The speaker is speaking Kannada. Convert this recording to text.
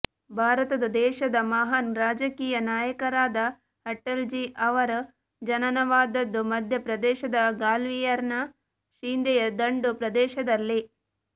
ಭಾರತದ ದೇಶದ ಮಹಾನ್ ರಾಜಕೀಯ ನಾಯಕರಾದ ಅಟಲ್ಜೀ ಅವರ ಜನನವಾದದ್ದು ಮಧ್ಯಪ್ರದೇಶದ ಗ್ವಾಲಿಯರ್ ನ ಶಿಂಧೆಯ ದಂಡು ಪ್ರದೇಶದಲ್ಲಿ